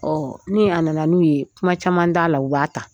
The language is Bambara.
Ɔ ni a nana n'u ye kuma caman t'a la u b'a ta